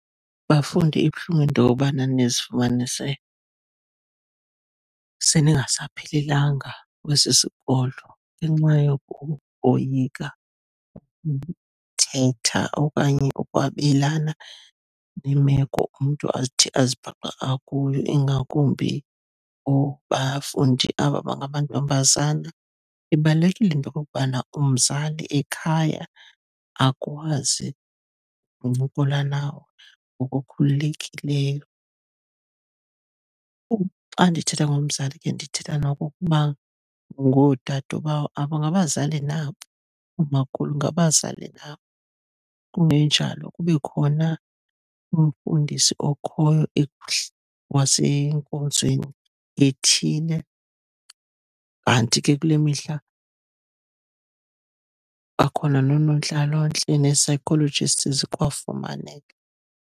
Bafundi, ibuhlungu into yobana nizifumanise seningasaphelelanga kwesi sikolo ngenxa yokoyika thetha okanye ukwabelana nemeko umntu athi azibhaqa akuyo, ingakumbi abafundi aba bangamantombazama. Ibalulekile into okokubana umzali ekhaya akwazi uncokola nawe ngokukhululekileyo. Xa ndithetha ngomzali ke ndithetha nokokuba ngoodadobawo aba, ngabazali nabo, oomakhulu ngabazali nabo. Kungenjalo, kube khona umfundisi okhoyo wasenkonzweni ethile. Kanti ke kule mihla bakhona noonontlalontle, nee-physiologists zikwafumaneka.